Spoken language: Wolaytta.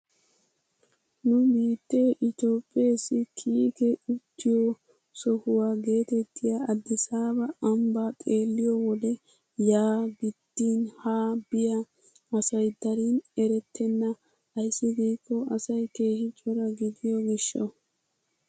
Nu biittee itoophpheesi kiike uttiyoo sohuwaa getettiyaa adisaaba ambbaa xeelliyoo wode yaa gidin haa biyaa asay darin erettena ayssi giikko asay keehi cora gidiyoo gishshawu.